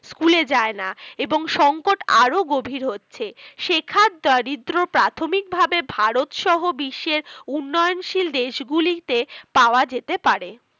School এ যায়না এবং সংকট আরো গভীর হচ্ছে শেখার দারিদ্র প্রাথমিক ভাবে ভারত সহ বিশ্বের উন্নয়ন শীল দেশ গুলিতে পাওয়া যেতে পারে